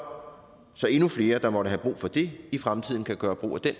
endnu flere der måtte have brug for det i fremtiden kan gøre brug af den